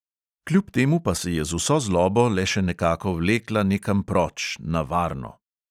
Kljub temu pa se je z vso zlobo le še nekako vlekla nekam proč, na varno.